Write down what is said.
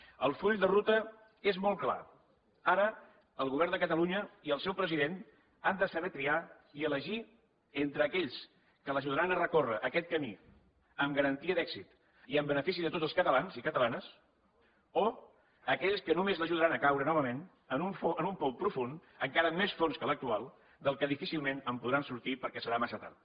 el full de ruta és molt clar ara el govern de catalunya i el seu president han de saber triar i elegir entre aquells que l’ajudaran a recórrer aquest camí amb garantia d’èxit i en benefici de tots els catalans i catalanes o aquells que només l’ajudaran a caure novament en un pou profund encara més fons que l’actual del que difícilment en podran sortir perquè serà massa tard